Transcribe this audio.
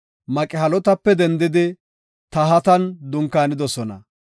Maqhelotape dendidi Tahatan dunkaanidosona.